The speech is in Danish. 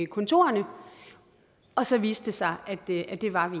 kontorerne og så viste det sig at det det var vi